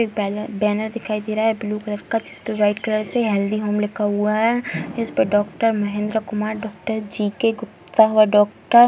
एक बैलर बैनर दिखाइ दे रहा है ब्लू कलर का जिस पे वाइट कलर से हैल्थी होम लिखा हुआ हैं जिस पर doctor Mahendra Kumar doctor G K. Gupta और डॉक्टर --